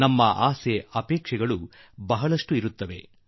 ನಮ್ಮ ಆಸೆ ಅಪೇಕ್ಷೆಗಳು ಬಹಳವೇ ಇರುತ್ತವೆ